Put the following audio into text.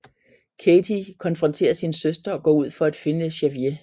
Katey konfronterer sin søster og går ud for at finde Javier